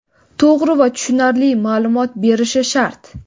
to‘g‘ri va tushunarli maʼlumot berishi shart.